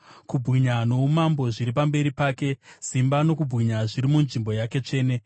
Kubwinya noumambo zviri pamberi pake; simba nokubwinya zviri munzvimbo yake tsvene.